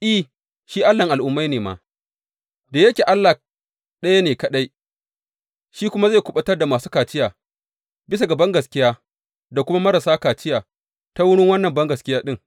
I, shi Allahn Al’ummai ne ma, da yake Allah ɗaya ne kaɗai, shi kuma zai kuɓutar da masu kaciya bisa ga bangaskiya da kuma marasa kaciya ta wurin wannan bangaskiya ɗin.